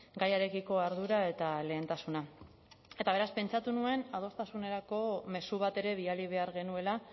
gaiarekiko ardura eta lehentasuna eta beraz pentsatu nuen adostasunerako mezu bat ere bidali behar genuela